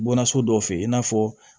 Bɔnna so dɔ fɛ yen i n'a fɔ